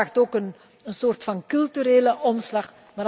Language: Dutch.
Dat vraagt ook een soort van culturele omslag.